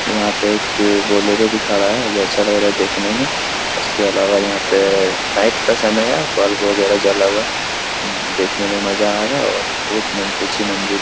यहाँ पे एक बोलेरो भी खड़ा है जो अच्छा लग रहा हे देखने में उसके अलावा यहाँ पे नाईट का समय है बल्प वगेरा जला हुवा है देखने में मजा आ रहा है और बोहोत मन ऊँची मंजिल --